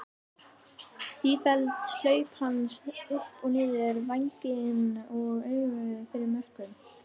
Sífelld hlaup hans upp og niður vænginn og auga fyrir mörkum.